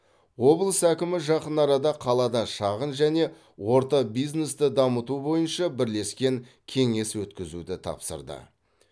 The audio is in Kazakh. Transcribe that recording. облыс әкімі жақын арада қалада шағын және орта бизнесті дамыту бойынша бірлескен кеңес өткізуді тапсырды